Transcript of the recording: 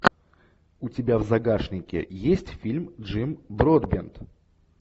у тебя в загашнике есть фильм джим бродбент